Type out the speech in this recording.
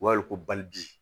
U b'a wele ko balibi